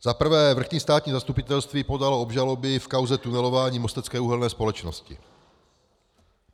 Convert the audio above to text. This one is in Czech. Za prvé, vrchní státní zastupitelství podalo obžaloby v kauze tunelování Mostecké uhelné společnosti.